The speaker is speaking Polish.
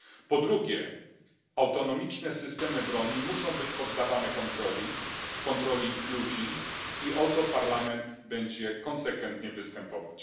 Po drugie, autonomiczne systemy broni muszą być poddawane kontroli ludzi i o to Parlament będzie konsekwentnie występować.